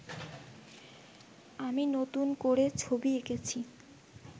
আমি নতুন করে ছবি এঁকেছি